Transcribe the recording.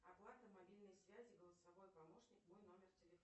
оплата мобильной связи голосовой помощник мой номер телефона